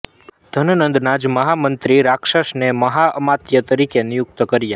ધનનંદના જ મહામંત્રી રાક્ષસને મહાઅમાત્ય તરીકે નિયુક્ત કર્યા